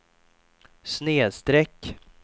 snedsträck